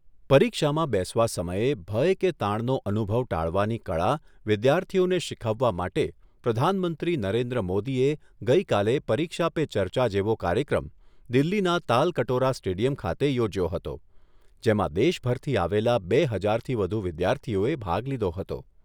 પરીક્ષામાં બેસવા સમયે ભય કે તાણનો અનુભવ ટાળવાની કળા વિદ્યાર્થીઓને શીખવવા માટે પ્રધાનમંત્રી નરેન્દ્ર મોદીએ ગઈકાલે પરીક્ષા પે ચર્ચા જેવો કાર્યક્રમ દિલ્લીના તાલકટોરા સ્ટેડિયમ ખાતે યોજ્યો હતો, જેમાં દેશભરથી આવેલા બે હજારથી વધુ વિદ્યાર્થીઓએ ભાગ લીધો હતો.